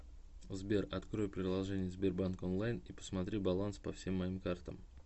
сбер открой приложение сбербанк онлайн и посмотри баланс по всем моим картам